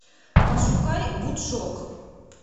пошукай вудшок